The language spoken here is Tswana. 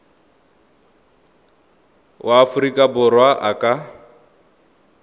wa aforika borwa a ka